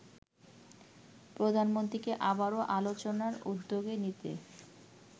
প্রধানমন্ত্রীকে আবারো আলোচনার উদ্যোগ নিতে